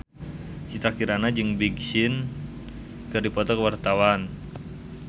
Citra Kirana jeung Big Sean keur dipoto ku wartawan